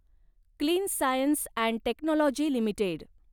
clean Science and Technology limited